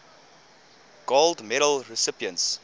gold medal recipients